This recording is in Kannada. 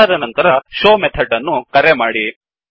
ಅದಾದ ನಂತರshowಮೆಥಡ್ ಅನ್ನು ಕರೆ ಮಾಡಿ